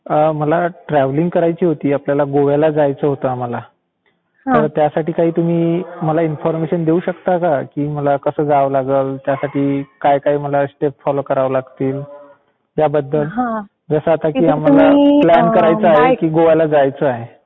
मला ट्रॅव्हलिंग करायची होती आपल्याला गोव्याला जायचं होतं आम्हाला. तर त्यासाठी तुम्ही मला इन्फॉर्मेशन देऊ शकता का? की मला कसं जावं लागलं, त्यासाठी काय काय मला स्टेप फॉलो करावे लागतील? त्याबद्दल, जसं की आम्हाला प्लान आहे की गोव्याला जायचंय.